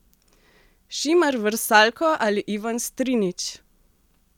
Šimer Vrsaljko ali Ivan Strinić?